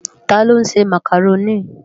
Tá ló nsé Mákároni?